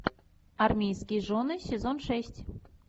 армейские жены сезон шесть